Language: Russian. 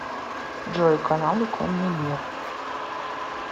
джой каналы конный мир